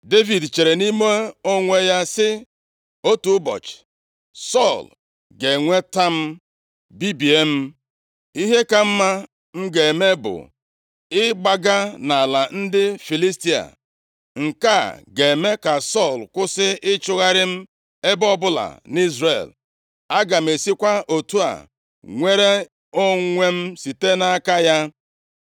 Devid chere nʼime onwe ya sị, “Otu ụbọchị Sọl ga-enweta m, bibie m. Ihe ka mma m ga-eme bụ ịgbaga nʼala ndị Filistia. Nke a ga-eme ka Sọl kwụsị ịchọgharị m ebe ọbụla nʼIzrel. Aga m esikwa otu a, nwere onwe m site nʼaka ya.”